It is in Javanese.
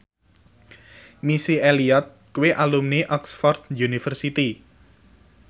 Missy Elliott kuwi alumni Oxford university